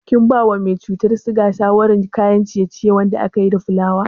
Kin bawa mai cutar siga shawarar cin kayan ciye-ciye wanda akayi da fulawa?